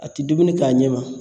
A ti dumuni k'a ɲɛma